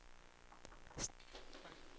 Statens tomma kassakista är ett fysiskt faktum.